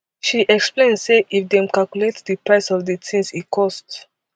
she explain say if dem calculate di price of dis tins e cost